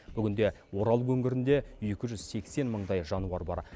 бүгінде орал өңірінде екі жүз сексен мыңдай жануар бар